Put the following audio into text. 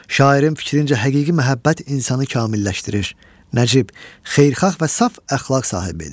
Şairin fikrincə həqiqi məhəbbət insanı kamilləşdirir, nəcib, xeyirxah və saf əxlaq sahibi edir.